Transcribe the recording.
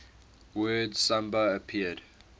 word samba appeared